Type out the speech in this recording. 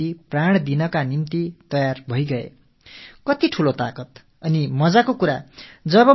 எவர்கள் மத்தியில் வாழ்ந்தார்களோ அவர்களுக்காகவே தங்கள் உயிரையும் துறக்கத் தயாராகி விட்டிருந்தார்கள்